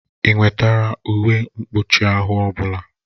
Ị wetara uwe mkpụchi ahụ ọbụla?